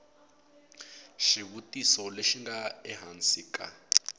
xivutiso lexi nga ehansi ka